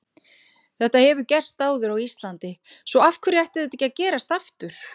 Þetta hefur gerst áður á Íslandi svo af hverju ætti þetta ekki að gerast aftur?